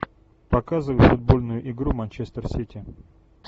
показывай футбольную игру манчестер сити